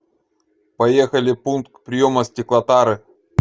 поехали пункт приема стеклотары